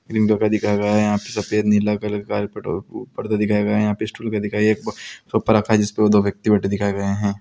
Green colour का दिखाया गया है | यहाँ पे सफेद नीला कलर का पेट्रो पर्दा दिखाए गये हैं | यहाँ पे स्टूल दिखाया गया है | एक सोफा रखा है जिसपे वो दो व्यक्ति बैठे दिखाए गये हैं।